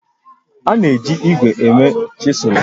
A na-eji ígwè eme chịsụlụ